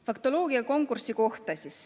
Faktoloogia konkursi kohta.